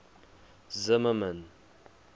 zimmermann